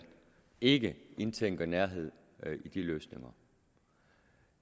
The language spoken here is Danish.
ikke indtænker nærhed i de løsninger